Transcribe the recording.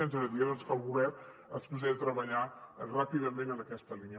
i ens agradaria que el govern es posés a treballar ràpidament en aquesta línia